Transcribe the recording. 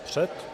Před?